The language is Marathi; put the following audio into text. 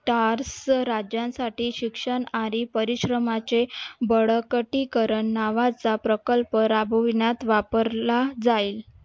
Star चं राज्यांसाठी शिक्षण आणि परिश्रमाचे बळकटीकरण नावाचा प्रकल्प राबविण्यात वापरला जाईल.